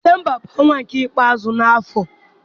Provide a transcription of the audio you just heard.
Disemba bụ ọnwa nke ikpeazụ n'afọ.